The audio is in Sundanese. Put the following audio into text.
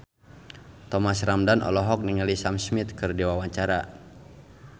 Thomas Ramdhan olohok ningali Sam Smith keur diwawancara